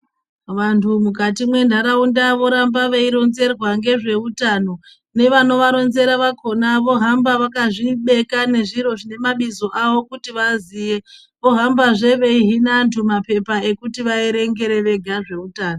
Vantu mukati mwentaraunda voramba veironzerwa ngezveutano nevanoganovaronzera vakhona vohamba vakazvibeka nezviro zvine mabizo avo kuti avaziye vohambe veihina antu mapepa ekuti vaerengere vega zveutano.